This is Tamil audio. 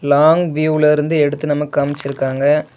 லாங் வியூல இருந்து எடுத்து நமக்கு அமுச்சுருக்காங்க.